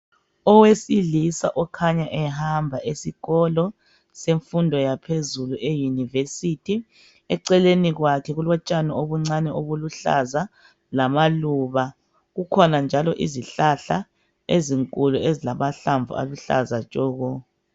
Owesilisa okhanya ehamba esikolo semfundo yaphezulu eyunivesithi, eceleni kwakhe kulotshani obuncane obuluhlaza lamaluba. Kukhona njalo izihlahla ezinkulu ezilamahlamvu aluhlaza tshoko.